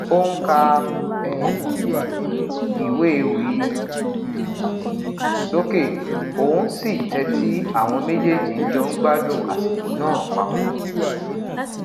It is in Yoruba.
o n ka um iwe ewi um soke oun si n tẹti awọn mejeeji n jọ n gbadun asiko naa papọ